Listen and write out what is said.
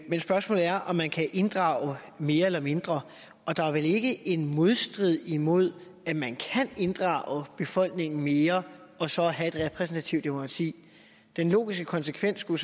men spørgsmålet er om man kan inddrage mere eller mindre og der er vel ikke en modsætning imellem at man kan inddrage befolkningen mere og så have et repræsentativt demokrati den logiske konsekvens skulle